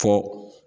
Fo